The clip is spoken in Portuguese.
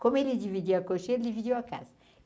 Como ele dividia a cocheira, ele dividiu a casa.